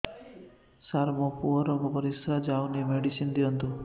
ସାର ମୋର ପୁଅର ପରିସ୍ରା ଯାଉନି ମେଡିସିନ ଦିଅନ୍ତୁ